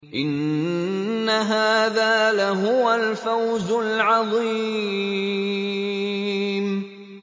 إِنَّ هَٰذَا لَهُوَ الْفَوْزُ الْعَظِيمُ